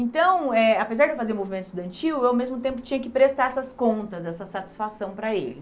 Então, eh apesar de eu fazer movimento estudantil, eu, ao mesmo tempo, tinha que prestar essas contas, essa satisfação para ele.